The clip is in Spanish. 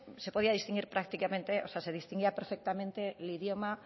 se podía distinguir prácticamente o sea se distinguía perfectamente el idioma